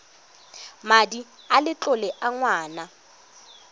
madi a letlole a ngwana